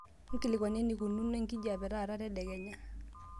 nkilikuanu eneikununo enkijiape taata tedekenya